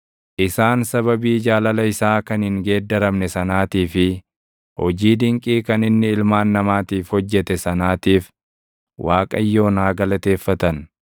Isaan sababii jaalala isaa kan hin geeddaramne sanaatii fi hojii dinqii kan inni ilmaan namaatiif hojjete sanaatiif, // Waaqayyoon haa galateeffatan!